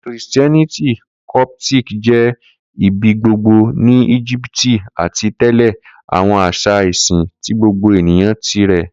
Kristiẹniti Coptic jẹ ibigbogbo ni Egipti ati tẹle awọn aṣa isin ti gbogbo eniyan tirẹ.